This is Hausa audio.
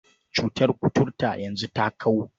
Cutar kuturta yanzu ta kau.